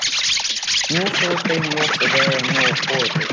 Nú fór þeim loks að verða nóg boðið.